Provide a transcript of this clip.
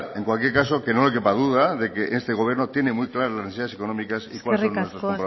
en cualquier caso que no le quepa duda de que este gobierno tiene muy claro las necesidades económicas y cuáles son nuestros compromisos eskerrik asko